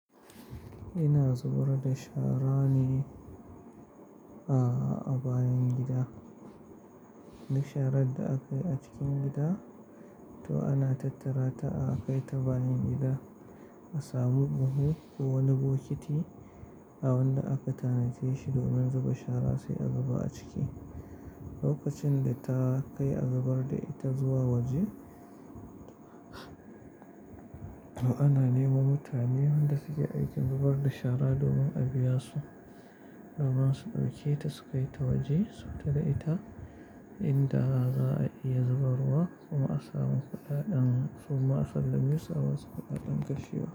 Ina zubar da shara ne a bayan gida. Duk sharar da akayi a cikin gida to ana tattara ta a kai ta bayan gida a samu buhu ko wani bokiti a wanda aka tanadace shi domin zuba shara sai a zuba a ciki. Lokacin da ta kai a zubar da ita zuwa waje, to ana neman mutane wanda suke aikin zubar da shara domin a biya su da masu ɗauke ta su kai ta waje su tada ita inda za a iya zubarwa kuma a samu kuɗaɗen su. Ma a kalla miyu sa'a su fi daɗen gashi yawa.